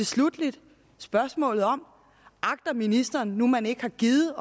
sluttelig er der spørgsmålet om ministeren nu man ikke har gidet